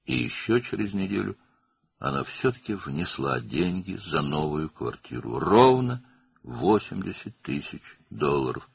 Və bir həftə sonra o, yenə də yeni mənzil üçün pul ödədi, tam 80.000 dollar.